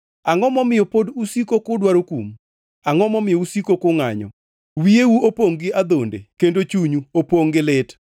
Angʼo momiyo pod usiko kudwaro kum? Angʼo momiyo usiko kungʼanyo? Wiyeu opongʼ gi adhonde kendo chunyu opongʼ gi lit.